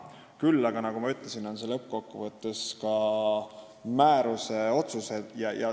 Küll aga, nagu ma ütlesin, on need lõppkokkuvõttes määruses kajastuvad otsused.